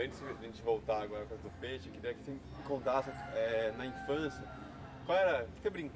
Antes de a gente voltar com a coisa do Peixe, eu queria que você me contasse eh na infância, qual era o que você